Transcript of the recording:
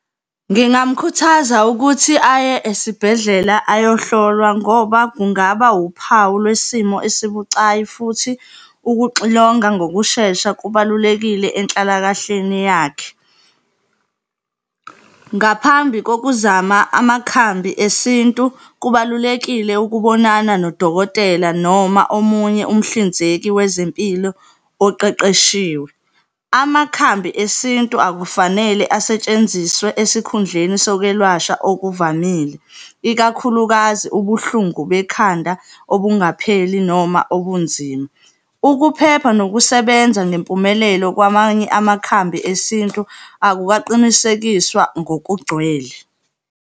Ngingamkhuthaza ukuthi aye esibhedlela ayohlolwa ngoba kungaba wuphawu lwesimo esibucayi futhi ukuxilonga ngokushesha kubalulekile enhlalakahleni yakhe. Ngaphambi kokuzama amakhambi esintu, kubalulekile ukubonana nodokotela noma omunye umhlinzeki wezempilo oqeqeshiwe. Amakhambi esintu akufanele asetshenziswe esikhundleni sakwelashwa okuvamile, ikakhulukazi ubuhlungu bekhanda obungapheli noma obunzima. Ukuphepha nokusebenza ngempumelelo kwamanye amakhambi esintu akukaqinisekiswa ngokugcwele.